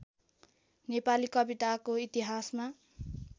नेपाली कविताको इतिहासमा